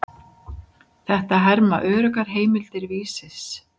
Þetta herma öruggar heimildir Vísis.